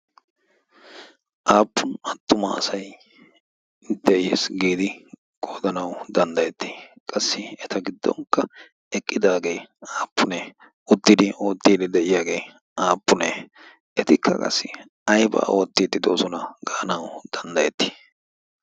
Aappun attuma asay de'iis giidi qoodanawu danddayettii? Qassi eta giddonkka eqqidaagee aappunee? Uttidi oottiidi de'iyaagee aappunee? Etikka qassi aybaa oottiidi doosona gaanawu danddayettii?